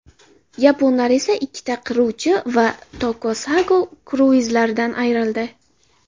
Yaponlar esa ikkita qiruvchi va Takosago kruizlaridan ayrildi.